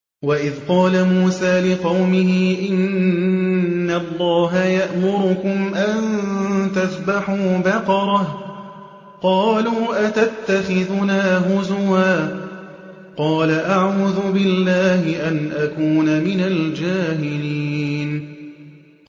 وَإِذْ قَالَ مُوسَىٰ لِقَوْمِهِ إِنَّ اللَّهَ يَأْمُرُكُمْ أَن تَذْبَحُوا بَقَرَةً ۖ قَالُوا أَتَتَّخِذُنَا هُزُوًا ۖ قَالَ أَعُوذُ بِاللَّهِ أَنْ أَكُونَ مِنَ الْجَاهِلِينَ